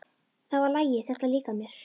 Það var lagið. þetta líkar mér!